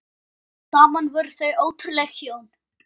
Saman voru þau ótrúleg hjón.